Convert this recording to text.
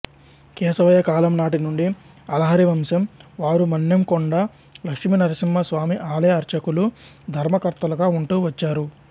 కేశవయ్య కాలం నాటి నుండి అలహరి వంశం వారు మన్నెంకొండ లక్ష్మీనరసింహస్వామి ఆలయ అర్చకులు ధర్మకర్తలుగా ఉంటూ వచ్చారు